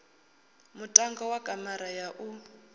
muṋango wa kamara ya u